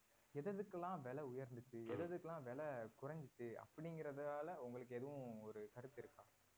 எது எதுக்கெல்லாம் விலை உயர்ந்ததுச்சு எதுஎதுக்கெல்லாம் விலை குறைஞ்சிச்சு அப்படிங்கறதால உங்களுக்கு எதுவும் கருத்து இருக்கா?